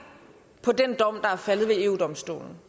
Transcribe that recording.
på den dom der er faldet ved eu domstolen